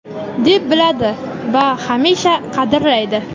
deb biladi va hamisha qadrlaydi.